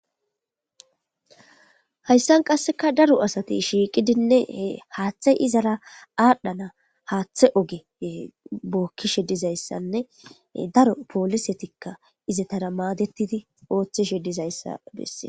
Hayisan qasika daro asati shiqidi hathe izara athanas hathe oge bokishe dizayisanne daro polisetika izatara madetizayisa besees